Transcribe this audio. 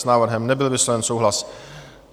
S návrhem nebyl vysloven souhlas.